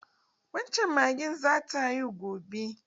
Wan can magen zata haihu gobe.